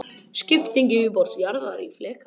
Skipting yfirborðs jarðar í fleka.